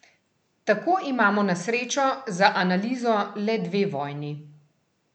Tako imamo na srečo za analizo le dve vojni.